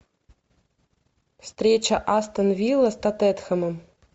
встреча астон вилла с тоттенхэмом